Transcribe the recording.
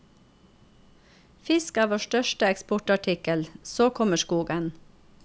Fisk er vår største eksportartikkel, så kommer skogen.